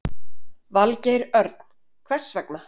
Valgeir Örn: Hvers vegna?